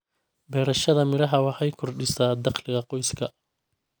Beerashada miraha waxay kordhisaa dakhliga qoyska.